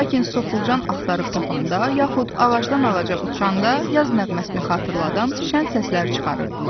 Lakin soxulcan axtarıb tapanda, yaxud ağacdan-ağaca uçanda yaz nəğməsini xatırladan şən səslər çıxarırdılar.